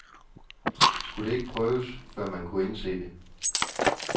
Skulle det ikke prøves, før man kunne indse det?